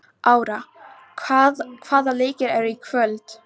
Ára, hvaða leikir eru í kvöld?